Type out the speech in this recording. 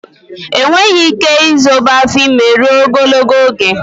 Enweghị ike izobe afọ ime rụo ogologo oge